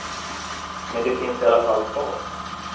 Men de finns i alla fall kvar.